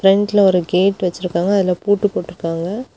ஃப்ரெண்ட்ல ஒரு கேட்டு வச்சிருக்காங்க அதுல பூட்டு போட்ருக்காங்க.